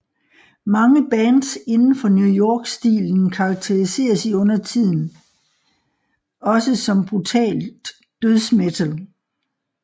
Mange bands indenfor New York stilen karakteriseres i undertiden også som brutalt dødsmetal